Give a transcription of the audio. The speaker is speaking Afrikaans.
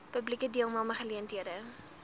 publieke deelname geleenthede